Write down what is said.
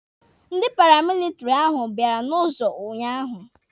Ndị paramilitiri ahụ bịara n'ụzọ unyaahụ.